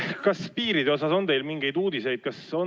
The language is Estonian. Kas piiride kohta on teil mingeid uudiseid?